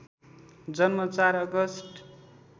जन्म ४ अगस्ट